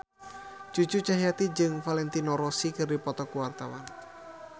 Cucu Cahyati jeung Valentino Rossi keur dipoto ku wartawan